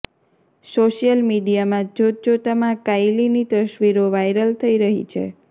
social મીડિયામાં જોતજોતામાં કાયલીની તસવીરો વાયરલ થઈ રહી છે